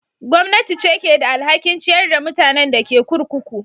Gwamnati ce ke da alhakin ciyar da mutanen da ke kurkuku.